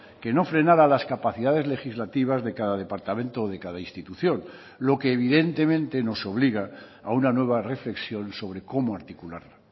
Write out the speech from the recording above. que no frenara las capacidades legislativas de cada departamento o de cada institución lo que evidentemente nos obliga a una nueva reflexión sobre cómo articularla